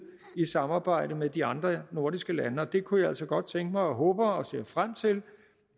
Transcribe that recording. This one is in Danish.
i samarbejdet med de andre nordiske lande det kunne jeg altså godt tænke mig og håber og ser frem til